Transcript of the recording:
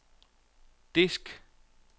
disk